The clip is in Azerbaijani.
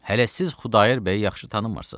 Hələ siz Xudayar bəyi yaxşı tanımırsız.